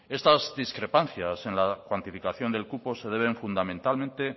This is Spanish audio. estas discrepancias en la cuantificación del cupo se deben fundamentalmente